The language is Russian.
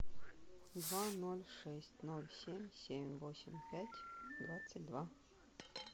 два ноль шесть ноль семь семь восемь пять двадцать два